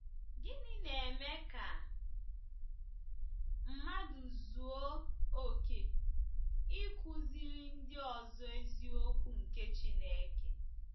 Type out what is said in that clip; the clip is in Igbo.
Gịnị na-eme ka mmadụ zuo oke ịkụziri ndị ọzọ eziokwu nke Chineke?